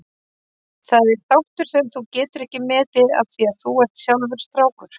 Það er þáttur sem þú getur ekki metið af því að þú ert sjálfur strákur.